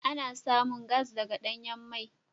Ana samun gas daga danyan mai.